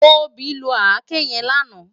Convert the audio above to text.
Tobi ló àké yèn làná